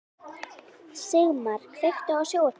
Sigmar, kveiktu á sjónvarpinu.